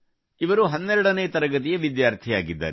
ಇವರು 12 ನೇ ತರಗತಿಯ ವಿದ್ಯಾರ್ಥಿಯಾಗಿದ್ದಾರೆ